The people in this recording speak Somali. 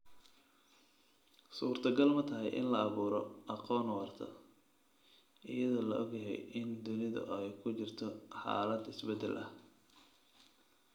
Suurtagal ma tahay in la abuuro aqoon waarta, iyadoo la og yahay in dunidu ay ku jirto xaalad isbeddel ah?